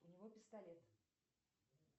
у него пистолет